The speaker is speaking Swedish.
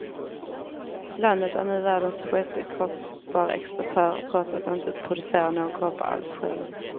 Landet är nu världens sjätte kopparexportör, trots att det inte producerar någon koppar alls själv.